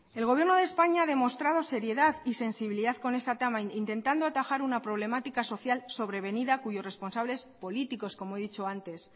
el gobierno de españa ha demostrado seriedad y sensibilidad con este tema intentando atajar una problemática social sobrevenida cuyos responsables políticos como he dicho antes